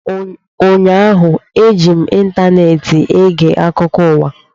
Ụnyaahụ, eji m ịntaneetị ege akụkọ ụwa